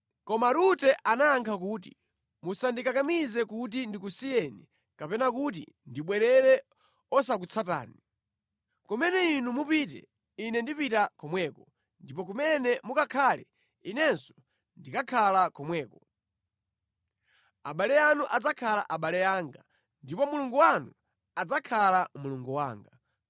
Koma Rute anayankha kuti, “Musandikakamize kuti ndikusiyeni kapena kuti ndibwerere osakutsatani. Kumene inu mupite ine ndipita komweko, ndipo kumene mukakhale inenso ndikakhala komweko. Abale anu adzakhala abale anga ndipo Mulungu wanu adzakhala Mulungu wanga.